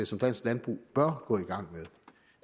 som dansk landbrug bør gå i gang